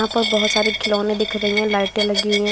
यहां पर बोहोत सारे खिलौने दिख रही हैं लाइटें लगी हैं।